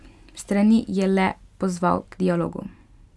Strani je le pozval k dialogu.